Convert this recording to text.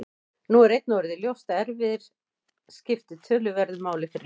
Nú er einnig orðið ljóst að erfðir skipta töluverðu máli fyrir lesblindu.